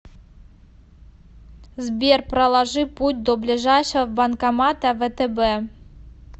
сбер проложи путь до ближайшего банкомата втб